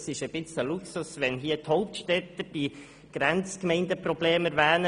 Es ist ein wenig ein Luxus, wenn die Hauptstädter die Grenzgemeindenprobleme erwähnen.